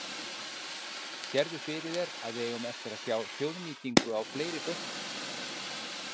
Lóa: Sérðu fyrir þér að við eigum eftir að sjá þjóðnýtingu á fleiri bönkum?